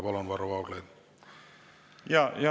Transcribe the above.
Palun, Varro Vooglaid!